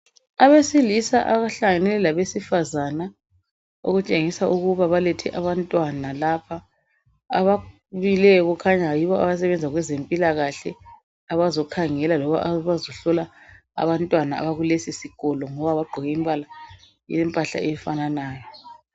Abesilisa abahlangane labesifazana okutshengisa ukuba balethe abantwana lapha ababuyileyo kukhanya yibo abasebenza kwezempilakahle abazokhangela loba abazohlola abantwana abakuleso sikolo ngoba bagqoke impahla yompala ofananayo.